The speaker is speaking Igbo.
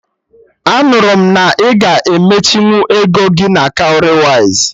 Anụrụ m na ị ga-emechinwu ego gị na Cowrywise